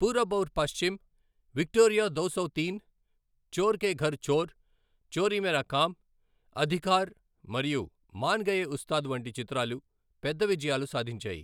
Purab Aur Paschim, Victoria Do Sau Teen , Chor Ke Ghar Chor, Chori Mera Kaam, Adhikar మరియు మాన్ గయే ఉస్తాద్ వంటి చిత్రాలు పెద్ద విజయాలు సాధించాయి.